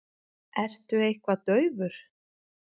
Ertu eitthvað daufur?